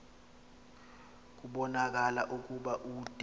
kubonakala ukuba ude